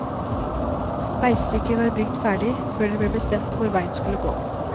Veistykket var bygd ferdig før det ble bestemt hvor veien skulle gå.